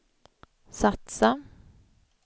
satsa